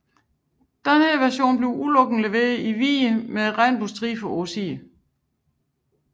Denne version blev udelukkende leveret i farven hvid med regnbuestriber på siderne